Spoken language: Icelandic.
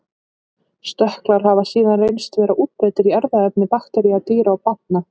Stökklar hafa síðan reynst vera útbreiddir í erfðaefni baktería, dýra og plantna.